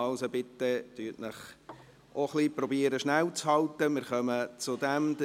Also, versuchen Sie sich bitte kurzzufassen.